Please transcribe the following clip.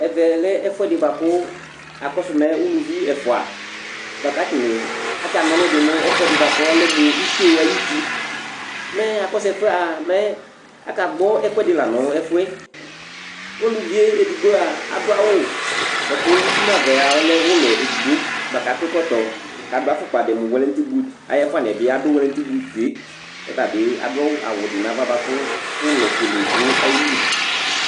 Ɛvɛ lɛ ɛfʋɛdɩ bʋa kʋ akɔsʋ mɛ uluvi ɛfʋa kʋ atanɩ atana ɔlʋ dɩ nʋ ɛfʋɛdɩ bʋa kʋ ɔlɛ mʋ ito ayuti, mɛ akɔsʋ ɛfʋ yɛ mɛ akagbɔ ɛkʋɛdɩ la nʋ ɛfʋ yɛ Uluvi yɛ edigbo a, adʋ awʋ bʋa kʋ uti nʋ ava a, ɔlɛ ʋlɔ edigbo bʋa kʋ akɔ ɛkɔtɔ Adʋ afʋkpa dɩ mʋ wɛlɛtɩ but ayʋ ɛfʋanɩ yɛ bɩ adʋ wɛlɛtɩ but yɛ kʋ ɔta bɩ adʋ awʋ dɩ nʋ ava bʋa kʋ ʋlɔfuele dʋ ayili